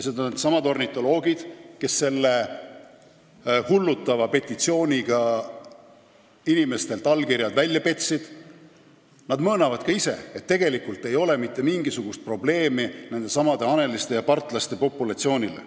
Needsamad ornitoloogid, kes selle hullutava petitsiooniga inimestelt allkirjad välja petsid, möönavad ka ise, et tegelikult ei ole mitte mingisugust ohtu nendesamade haneliste ja partlaste populatsioonile.